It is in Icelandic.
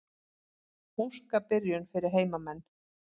Óska byrjun fyrir heimamenn.